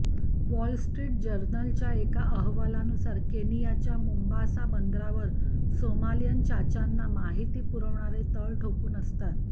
wall Street जर्नलच्या एका अहवालानुसार केनियाच्या मोंबासाच्या बंदरावर सोमालियन चाच्यांना माहिती पुरविणारे तळ ठोकून असतात